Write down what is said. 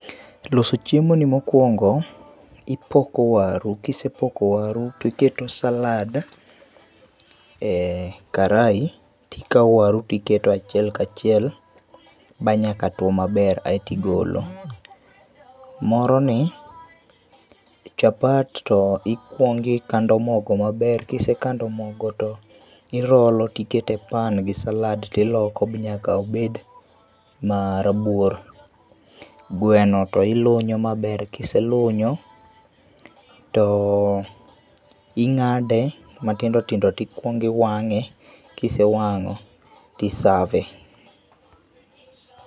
Loso chiemo ni mokuongo ipoko waru, kisepoko waru[sc] tiketo salad[sc] e karai tikao waru tiketo achiel kachiel manyaka tuo maber aito igolo. Moro ni, chapat to ikuong' ikando mogo maber, ka isekando maber to irolo[sc] to iketo e pan gi salad tiloko nyaka obed marabuor. Gweno to ilunyo maber, kiselunyo to ing'ade matindo tindo to ikuong' iwang'e kisewango ti save.